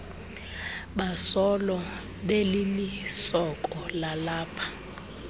basolo belilisoko lalapha